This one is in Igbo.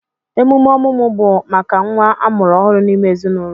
Emume ọmụmụ bụ maka nnwa amụrụ ọhụrụ n'ime ezinụlọ